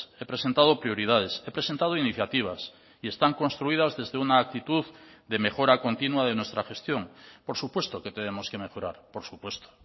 he presentado prioridades he presentado iniciativas y están construidas desde una actitud de mejora continua de nuestra gestión por supuesto que tenemos que mejorar por supuesto